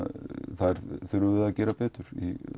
þar þurfum við að gera betur